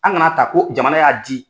An kan'a ta ko jamanaya y'a di.